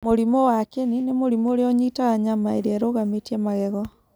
Mũrimũ wa kĩni nĩ mũrimũ ũrĩa ũnyiitaga nyama iria irũgamĩtie magego.